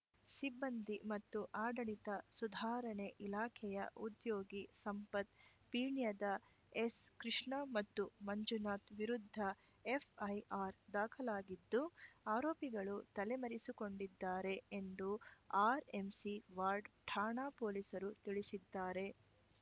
ಸಿಬ್ಬಂದಿ ಮತ್ತು ಆಡಳಿತ ಸುಧಾರಣೆ ಇಲಾಖೆಯ ಉದ್ಯೋಗಿ ಸಂಪತ್‌ ಪೀಣ್ಯದ ಎಸ್‌ಕೃಷ್ಣ ಮತ್ತು ಮಂಜುನಾಥ್‌ ವಿರುದ್ಧ ಎಫ್‌ಐಆರ್‌ ದಾಖಲಾಗಿದ್ದು ಆರೋಪಿಗಳು ತಲೆಮರೆಸಿಕೊಂಡಿದ್ದಾರೆ ಎಂದು ಆರ್‌ಎಂಸಿ ವಾರ್ಡ್ ಠಾಣಾ ಪೊಲೀಸರು ತಿಳಿಸಿದ್ದಾರೆ